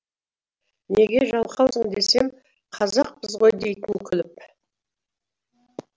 неге жалқаусың десем қазақпыз ғой дейтін күліп